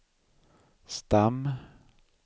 stam